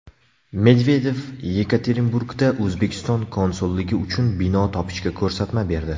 Medvedev Yekaterinburgda O‘zbekiston konsulligi uchun bino topishga ko‘rsatma berdi.